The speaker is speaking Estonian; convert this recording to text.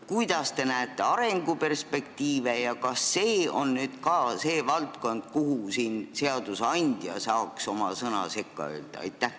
Kuidas te näete arenguperspektiive ja kas see on see valdkond, kus seadusandja saaks oma sõna sekka öelda?